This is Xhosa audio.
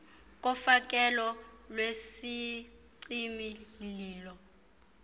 kofakelo lwesicimi mlilo